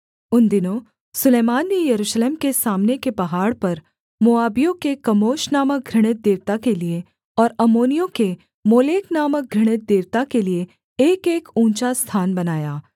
उन दिनों सुलैमान ने यरूशलेम के सामने के पहाड़ पर मोआबियों के कमोश नामक घृणित देवता के लिये और अम्मोनियों के मोलेक नामक घृणित देवता के लिये एकएक ऊँचा स्थान बनाया